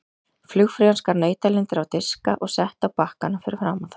Flugfreyjan skar nautalundir á diska og setti á bakkana fyrir framan þá.